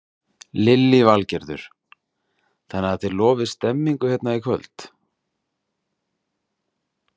Lillý Valgerður: Þannig að þið lofið stemningu hérna í kvöld?